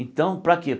Então, para quê?